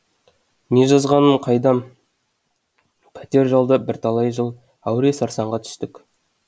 не жазғанын қайдам пәтер жалдап бірталай жыл әуре сарсаңға түстік